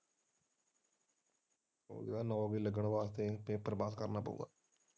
ਉਹ ਇਹ ਨੌਕਰੀ ਲੱਗਣ ਵਾਸਤੇ ਪੇਪਰ ਬਾਕ ਕਰਨਾ ਪਉਗਾ।